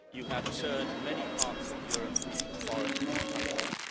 You have turned many parts of Europe into foreign countries.